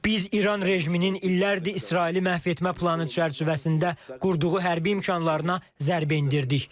Biz İran rejiminin illərdir İsraili məhv etmə planı çərçivəsində qurduğu hərbi imkanlarına zərbə endirdik.